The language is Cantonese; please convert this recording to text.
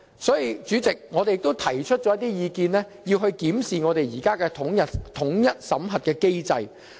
所以，主席，我們亦提出了一些意見，要求檢視我們現行的統一審核機制。